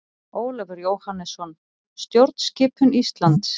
Ólafur Jóhannesson: Stjórnskipun Íslands.